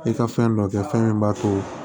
I ka fɛn dɔ kɛ fɛn min b'a to